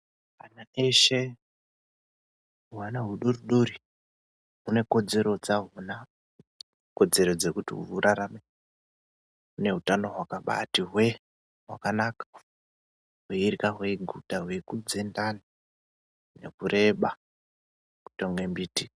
Ana eshe, hwana hudori dori hune kodzero dzahona kodzero dzekuti hurarame nehutamo hwakabaati hwee hwakanaka hweirya hweiguta, hweikudze ndani nekureba kuite kunge mbiti.